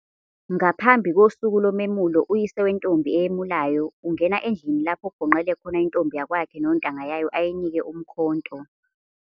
Ngaphambi kosuku lomemulo, uyise wentombi eyemulayo ungena endlini lapho kugonqele khona intombi yakwakhe nontanga yayo ayinike umkhonto.